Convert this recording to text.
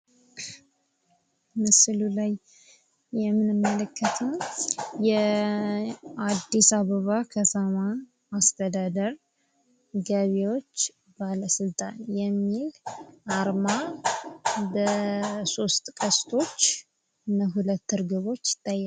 ምስሉ ላይ የምንመለከተው የአድስ አበባ ከተማ አስተዳደር ገቢዎች ባለስልጣን የሚል አርማ በሶስት ቀስቶች እና ሁለት እርግቦች ይታያሉ።